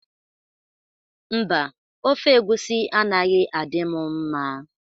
Mba, Ofe egwusi anaghị adị mụ mma.